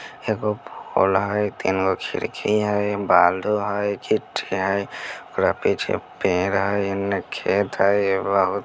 एगो हई तीन गो खिड़की हई बालू हई गिट्टी हई ओकर पीछे पेड़ हई एने खेत हई --